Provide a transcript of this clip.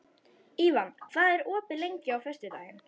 Ívan, hvað er opið lengi á föstudaginn?